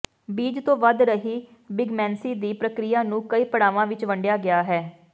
ਬੀਜ ਤੋਂ ਵਧ ਰਹੀ ਬਿਗਮੈਂਸੀ ਦੀ ਪ੍ਰਕਿਰਿਆ ਨੂੰ ਕਈ ਪੜਾਵਾਂ ਵਿੱਚ ਵੰਡਿਆ ਗਿਆ ਹੈ